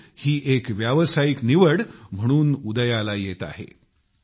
खेळ ही एक व्यावसायिक निवड म्हणून उदयास येत आहेत